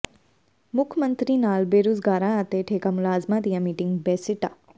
ਮੁੱਖ ਮੰਤਰੀ ਨਾਲ ਬੇਰੁਜ਼ਗਾਰਾਂ ਅਤੇ ਠੇਕਾ ਮੁਲਾਜ਼ਮਾਂ ਦੀਆਂ ਮੀਟਿੰਗਾਂ ਬੇਸਿੱਟਾ